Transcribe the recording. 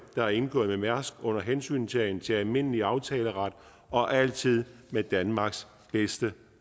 der er indgået med mærsk under hensyntagen til almindelig aftaleret og altid med danmarks bedste